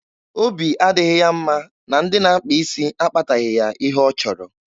Obi adịghị ya mma na ndị na-akpa isi akpataghị ya ihe ọ chọrọ.